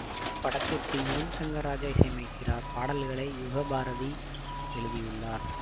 இப்படத்திற்கு யுவன் ஷங்கர் ராஜா இசையமைக்கிறார் பாடல்களை யுகபாரதி எழுதியுள்ளார்